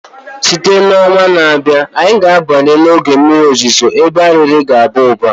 Site na ọnwa na-abịa, anyị ga-abanye n'oge mmiri ozuzo ebe Arịrị ga-aba ụba